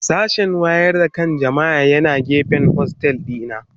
Sashen wayar da kan jama'a yana gefen hostel dina.